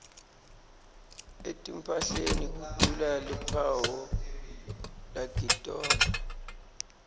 etimphahleni kudula luphawu lakitona